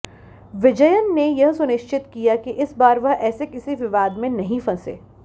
विजयन ने यह सुनिश्चित किया कि इस बार वह ऐसे किसी विवाद में नहीं फंसे